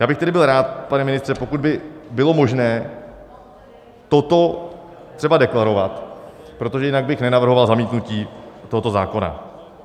Já bych tedy byl rád, pane ministře, pokud by bylo možné toto třeba deklarovat, protože jinak bych nenavrhoval zamítnutí tohoto zákona.